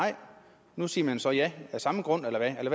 nu siger man så ja af samme grund eller hvad er det